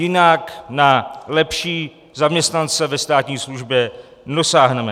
Jinak na lepší zaměstnance ve státní službě nedosáhneme.